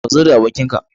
Ka zo da abokin ka